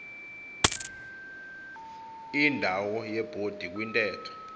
indawo yebhodi kwintetho